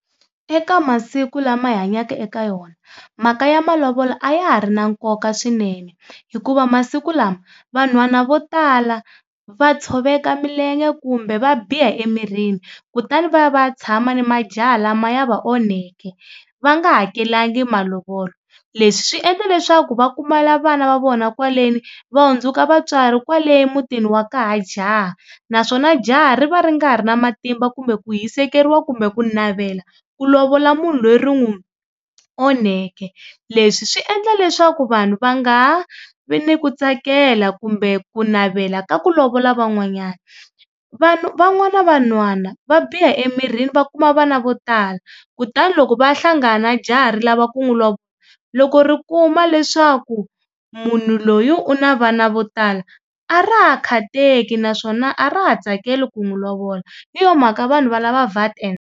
Eka masiku lama hi hanyaka eka yona mhaka ya malovolo a ya ha ri na nkoka swinene hikuva masiku lama vanhwana vo tala va tshoveka milenge kumbe va biha emirini kutani va ya va ya tshama ni majaha lama ya va onheke va nga hakelanga malovolo. Leswi swi endla leswaku va kumala vana va vona kwaleni va hundzuka vatswari kwale emutini wa ka ha jaha naswona jaha ri va ri nga ha ri na matimba kumbe ku hisekeriwa kumbe ku navela ku lovola munhu loyi ri n'wu onheke. Leswi swi endla leswaku vanhu va nga ha vi ni ku tsakela kumbe ku navela ka ku lovola van'wanyana. van'wana vanhwana va biha emirini va kuma vana vo tala kutani loko va ya hlangana na jaha ri lava ku n'wu loko ri kuma leswaku munhu loyi u na vana vo tala a ra ha khateki naswona a ra ha tsakeli ku n'wi lovola hi yo mhaka vanhu va lava .